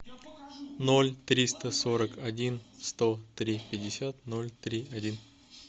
ноль триста сорок один сто три пятьдесят ноль три один